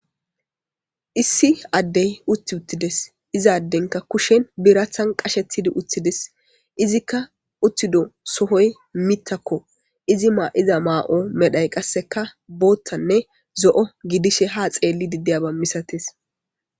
Issi addey utti uttides izaaddenka kushen birathan qashetidi uthides izikka uttido sohoy mittakko izi maa7iza maa7o medhay qasseka boottanne zo7o gidishe ha xeelli diddiyaba misates.